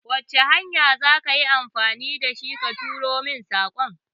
Wace hanya za ka yi amfani da shi ka turo min saƙon?